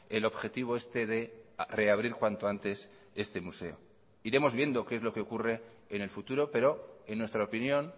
el objetivo este de reabrir cuanto antes este museo iremos viendo qué es lo que ocurre en el futuro pero en nuestra opinión